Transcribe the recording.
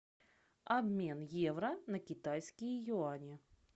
обмен евро на китайские юани